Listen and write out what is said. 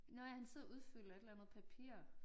Nåh ja han sidder og udfylder et eller andet papir